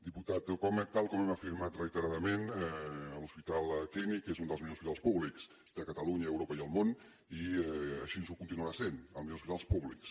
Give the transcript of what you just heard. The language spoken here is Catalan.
diputat tal com hem afirmat reiteradament l’hospital clínic és un dels millors hospitals públics de catalunya europa i el món i així ho continuarà sent dels millors hospitals públics